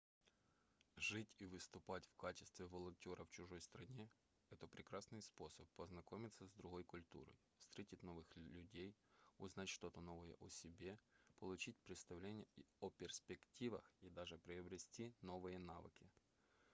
жить и выступать в качестве волонтёра в чужой стране это прекрасный способ познакомиться с другой культурой встретить новых людей узнать что-то новое о себе получить представление о перспективах и даже приобрести новые навыки